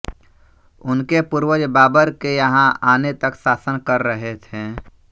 उनके पूर्वज बाबर के यहाँ आने तक शासन कर रहे थे